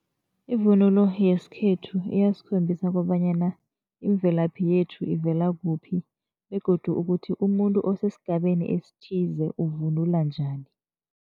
Ivunulo yesikhethu iyasikhombisa kobanyana imvelaphi yethu ivela kuphi begodu ukuthi umuntu osesigabeni esithize uvunula njani.